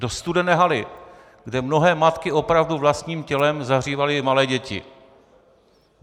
Do studené haly, kde mnohé matky opravdu vlastním tělem zahřívaly malé děti.